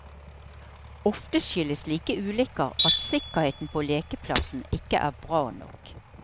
Ofte skyldes slike ulykker at sikkerheten på lekeplassen ikke er bra nok.